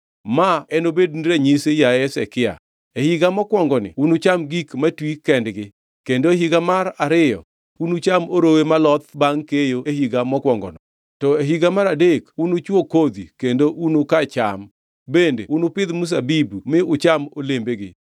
“Ma ema nobedni ranyisi, yaye Hezekia: “E higa mokwongoni, unucham gik matwi kendgi, kendo e higa mar ariyo unucham orowe moloth bangʼ keyo e higa mokwongono. To e higa mar adek unuchwo kodhi kendo unuka cham, bende unupidh mzabibu mi ucham olembegi.